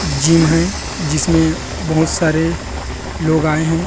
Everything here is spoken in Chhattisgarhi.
जिम है जिसमे बहुत सरे लोग आये है।